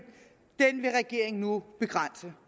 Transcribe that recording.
vil regeringen nu begrænse